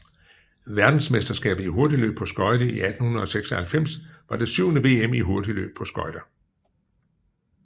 Verdensmesterskabet i hurtigløb på skøjter 1896 var det syvende VM i hurtigløb på skøjter